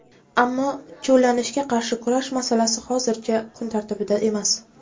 Ammo cho‘llanishga qarshi kurash masalasi hozircha kun tartibida emas.